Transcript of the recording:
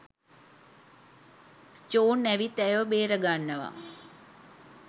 John ඇවිත් ඇයව බේරාගන්නවා